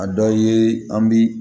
A dɔ ye an bi